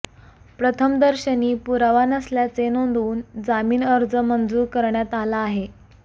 प्रथमदर्शनी पुरावा नसल्याचे नोंदवून जामीन अर्ज मंजूर करण्यात आला आहे